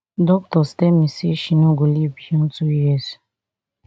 doctors tell me say she no go live beyond two years